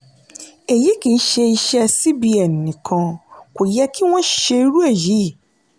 eyi kìí ṣe iṣẹ́ cbn nìkan kò yẹ kí wọ́n ṣe irú èyí.